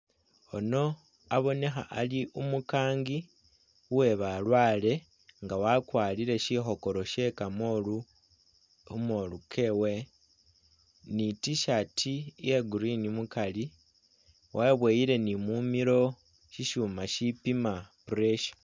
Yuno abonekha ali umukangi uwe balwaale, nga wakwarire si khokoro sye kamoolu ni i'T-shirt ya green mukari weboyile ni mumilo syisyuma syipima pressure.